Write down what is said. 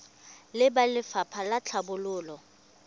le ba lefapha la tlhabololo